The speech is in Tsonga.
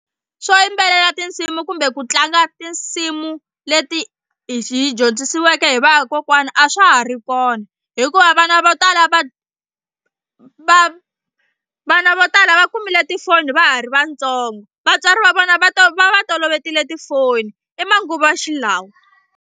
Swo yimbelela tinsimu kumbe ku tlanga tinsimu leti hi hi dyondzisiweke hi vakokwana a swa ha ri kona hikuva vana vo tala va va vana vo tala va kumile tifoni va ha ri vantsongo vatswari va vona va ta va va toloverile tifoni i manguva xilawa.